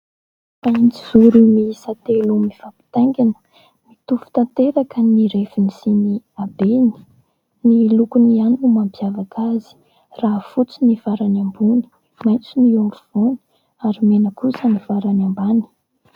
Mahitsizoro miisa telo mifampitaingana : mitovy tanteraka ny refiny sy ny habeny, ny lokony ihany ho mampiavaka azy raha fotsy ny farany ambony, maitso ny eo afovoany ary mena kosa ny farany ambany.